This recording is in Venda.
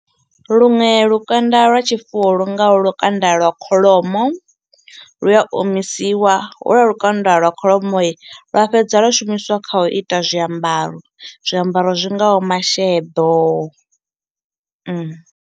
Luṅwe lukanda lwa tshifuwo lu ngaho lukanda lwa kholomo lu a omisiwa ho lwua lukanda lwa kholomoi lwa fhedza lwa shumiswa kha u ita zwiambaro, zwiambaro zwingaho masheḓo .